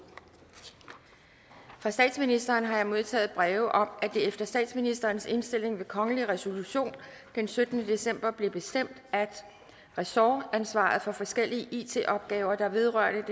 fra statsministeren har jeg modtaget breve om at det efter statsministerens indstilling ved kongelig resolution den syttende december blev bestemt at ressortansvaret for forskellige it opgaver der vedrører